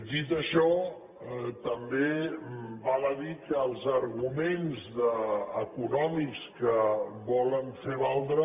dit això també val a dir que els arguments econòmics que volen fer valdre